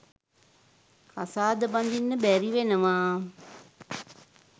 කසාද බඳින්න බැරිවෙනවා.